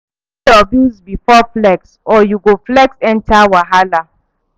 Pay your bills before flex, or you go flex enter wahala.